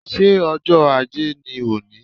Ṣé ọjọ́ Ajé ni òní?